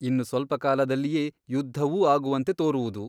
ಇನ್ನು ಸ್ವಲ್ಪಕಾಲದಲ್ಲಿಯೇ ಯುದ್ಧವೂ ಆಗುವಂತೆ ತೋರುವುದು.